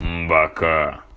бока